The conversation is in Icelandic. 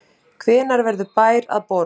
Hvenær verður bær að borg?